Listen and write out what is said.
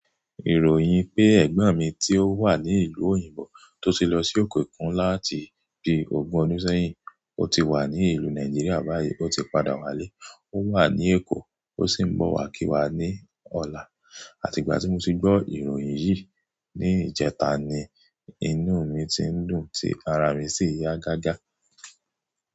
Ìròyìn pé ẹ̀gbọ́n mi tí ó wà ní ìlú òyìnbó tó ti lọ sí òkè òkun láti bí ogún ọdún sẹ́yìn, ó ti wà ní ìlú Nàìjíríà báyìí, ó ti padà wálé, ó wà ní Èkó, ó sì ń bọ̀ wá kí wa ní ọ̀la. Àti ìgbà tí mo ti gbọ́ ìròyìn yìí ní ìjẹta ni, inú mi ti ń dùn, tí ara mi sì yá gágá.